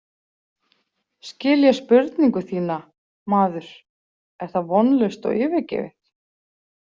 Skil ég spurningu þína, maður, er það vonlaust og yfirgefið?